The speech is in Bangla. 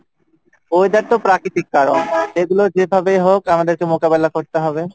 weather তো প্রাকৃতিক কারন, যেগুলো যেভাবেই হোক আমাদেরকে মোকাবিলা করতে হবে,